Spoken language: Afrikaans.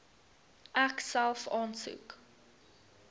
ek self aansoek